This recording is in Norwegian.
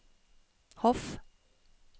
Hof